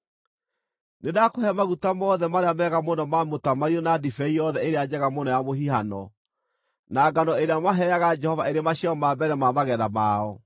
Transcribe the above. “Nĩndakũhe maguta mothe marĩa mega mũno ma mũtamaiyũ na ndibei yothe ĩrĩa njega mũno ya mũhihano, na ngano ĩrĩa maheaga Jehova ĩrĩ maciaro ma mbere ma magetha mao.